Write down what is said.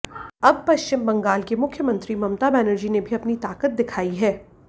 अब पश्चिम बंगाल की मुख्यमंत्री ममता बनर्जी ने भी अपनी ताकत दिखाई है